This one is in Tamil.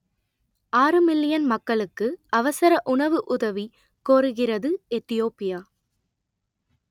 ஆறு மில்லியன் மக்களுக்கு அவசர உணவு உதவி கோருகிறது எத்தியோப்பியா